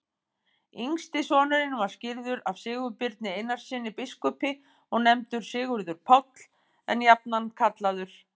Yngsti sonurinn var skírður af Sigurbirni Einarssyni biskupi og nefndur Sigurður Páll, en jafnan kallaður